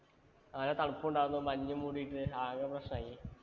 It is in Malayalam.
അതിനു തണുപ്പുമുണ്ടായിരുന്നു. മഞ്ഞുമൂടീട്ട് ആകെ പ്രശന്മായി.